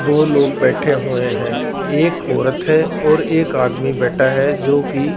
दो लोग बैठे हुए हैं एक औरत है और एक आदमी बैठा है जोकि--